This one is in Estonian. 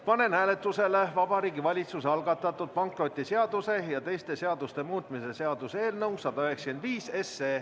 Panen hääletusele Vabariigi Valitsuse algatatud pankrotiseaduse ja teiste seaduste muutmise seaduse eelnõu 195.